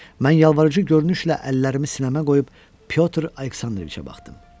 Mən yalvarıcı görünüşlə əllərimi sinəmə qoyub Pyotr Aleksandroviçə baxdım.